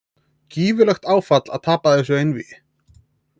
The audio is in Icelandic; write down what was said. Gífurlegt áfall að tapa þessu einvígi